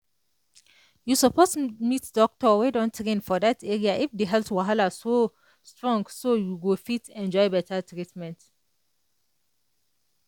you suppose meet doctor wey don train for that area if the health wahala strong so you go fit enjoy better treatment.